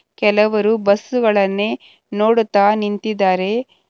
ಕೆಲವರು ಬಸ್ಸು ಗಳನ್ನೇ ನೋಡುತ್ತಾ ನಿಂತಿದ್ದಾರೆ.